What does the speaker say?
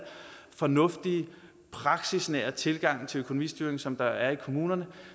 fornuftige praksisnære tilgang til økonomistyring som der er i kommunerne